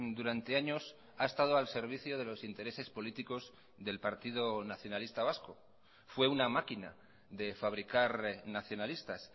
durante años ha estado al servicio de los intereses políticos del partido nacionalista vasco fue una máquina de fabricar nacionalistas